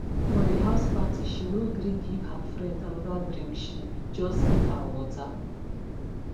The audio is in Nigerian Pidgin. for the house party she no gree give her friend another drinkshe just give her water